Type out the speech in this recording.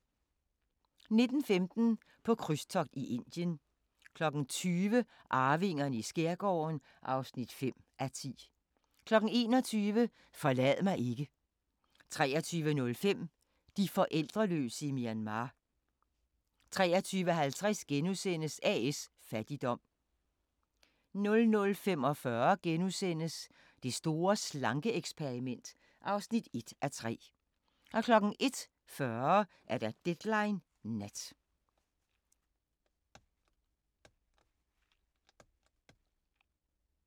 19:15: På krydstogt i Indien 20:00: Arvingerne i skærgården (5:10) 21:00: Forlad mig ikke 23:05: De forældreløse i Myanmar 23:50: A/S Fattigdom * 00:45: Det store slanke-eksperiment (1:3)* 01:40: Deadline Nat